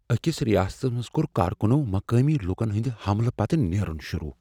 أکس ریاستس منٛز کوٚر کارکنو مقٲمی لوکن ہنٛد حملہٕ پتہٕ نیرن شروع۔